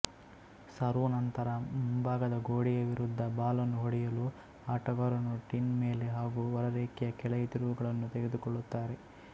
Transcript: serve ನಂತರ ಮುಂಭಾಗದ ಗೋಡೆಯ ವಿರುದ್ಧ ಬಾಲನ್ನು ಹೊಡೆಯಲು ಆಟಗಾರರು ಟಿನ್ ಮೇಲೆ ಹಾಗೂ ಹೊರರೇಖೆಯ ಕೆಳಗೆ ತಿರುವುಗಳನ್ನು ತೆಗೆದುಕೊಳ್ಳುತ್ತಾರೆ